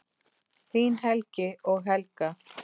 Þín Helgi og Helga.